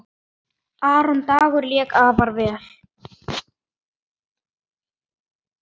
Aron Dagur lék afar vel.